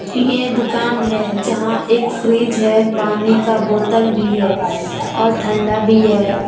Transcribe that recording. यह दुकान है यहां एक फ्रिज है पानी का बोतल भी है और ठंडा भी है।